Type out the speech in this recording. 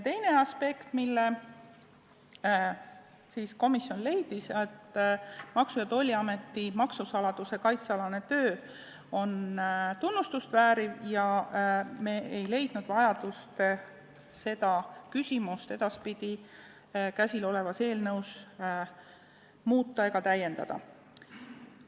Teise aspektina leidis komisjon, et Maksu- ja Tolliameti maksusaladuse kaitse alane töö väärib tunnustust ning ei ole vajadust seda küsimust eelnõus edaspidi muuta ega täiendada.